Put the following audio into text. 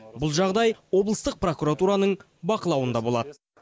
бұл жағдай облыстық прокуратураның бақылауында болады